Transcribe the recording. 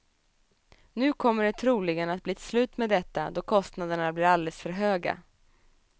Nu kommer det troligen att blir ett slut med detta, då kostnaderna blir alldeles för höga.